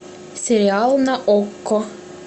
сериал на окко